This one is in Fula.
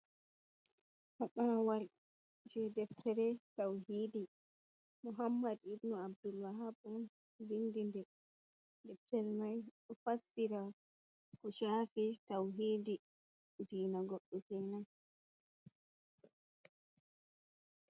Paɓaawal jey deftere tawhiidi muhammad ibnu Abdullahab on winndi nde, deftere mai ɗo fassira ko chafi tawhiidi diina goɗɗo tan.